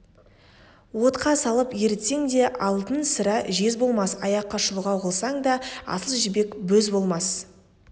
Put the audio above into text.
отқа салып ерітсең де алтын сірә жез болмас аяққа шұлғау қылсаң да асыл жібек бөз болмас